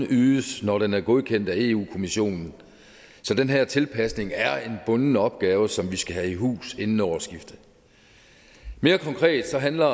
ydes når den er godkendt af europa kommissionen så den her tilpasning er en bunden opgave som vi skal have i hus inden årsskiftet mere konkret handler